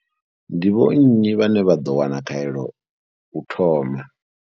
Ndi vho nnyi vhane vha ḓo wana khaelo u thoma?